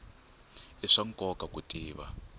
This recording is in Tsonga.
i swa nkoka ku tiva